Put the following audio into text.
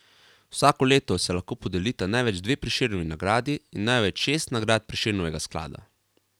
Vsako leto se lahko podelita največ dve Prešernovi nagradi in največ šest nagrad Prešernovega sklada.